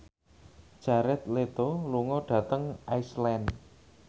Jared Leto lunga dhateng Iceland